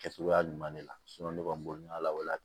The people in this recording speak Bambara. Kɛcogoya ɲuman de la ne kɔni b'o ɲɛ la